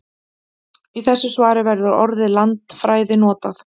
Í þessu svari verður orðið landfræði notað.